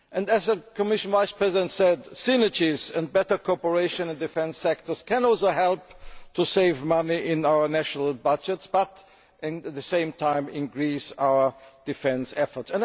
As the Commission Vice President said, synergies and better cooperation in the defence sector can also help us to save money in our national budgets but at the same time increase our defence efforts.